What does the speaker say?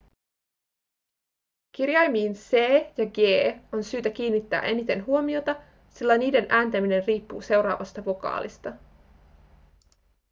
kirjaimiin c ja g on syytä kiinnittää eniten huomiota sillä niiden ääntäminen riippuu seuraavasta vokaalista